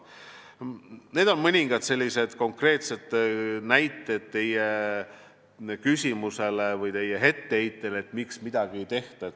Need on mõningad konkreetsed näited teie küsimuse või etteheite peale, et miks midagi ei tehta.